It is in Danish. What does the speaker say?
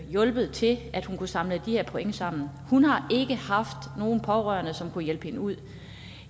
hjulpet til at hun kunne samle de her point sammen hun har ikke haft nogen pårørende som kunne hjælpe hende ud